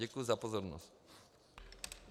Děkuji za pozornost.